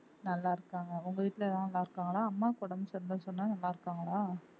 நல்லா இருக்காங்க உங்க வீட்ல எல்லா நல்லா இருக்காங்களா அம்மாவுக்கு உடம்பு சரியில்லைன்னு சொன்னா நல்லா இருக்காங்களா